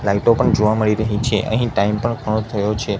લાઈટો પણ જોવા મળી રહી છે અહીં ટાઈમ પણ ઘણો થયો છે.